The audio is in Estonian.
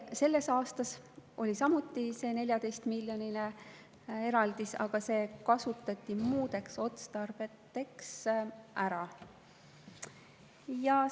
Selleks aastaks oli samuti eraldis 14 miljonit, aga see kasutati muudeks otstarveteks ära.